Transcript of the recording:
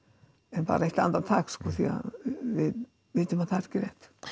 en bara eitt andartak sko því að við vitum að það er ekki rétt